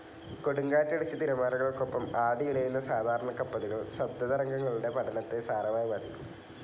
കൊടുങ്കാറ്റടിച്ച് തിരമാലകൾക്കൊപ്പം ആടി ഉലയുന്ന സാധാരണ കപ്പലുകൾ ശബ്ദതരംഗങ്ങളുടെ പഠനത്തെ സാരമായി ബാധിക്കും.